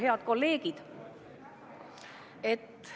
Head kolleegid!